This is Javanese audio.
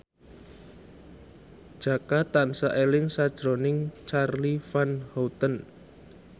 Jaka tansah eling sakjroning Charly Van Houten